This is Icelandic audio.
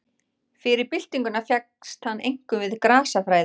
Fyrir byltinguna fékkst hann einkum við grasafræði.